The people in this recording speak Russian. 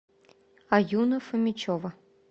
аюна фомичева